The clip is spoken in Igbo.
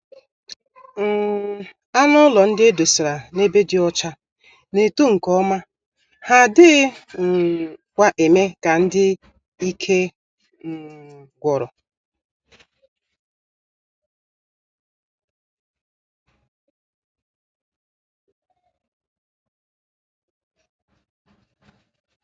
um Anụ ụlọ ndị edosara n'ebe dị ọcha N'eto nke ọma, ha adịghị um kwa eme ka ndị ike um gwụrụ.